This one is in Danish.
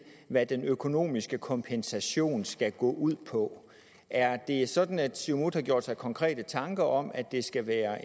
hvad den økonomiske kompensation skal gå ud på er det sådan at siumut har gjort sig konkrete tanker om at det skal være